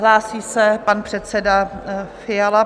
Hlásí se pan předseda Fiala.